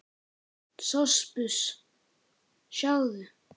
SOPHUS: Sjáðu!